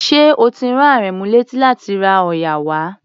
Ṣé o ti rán Àrẹ̀mú léti láti ra òòyà wá?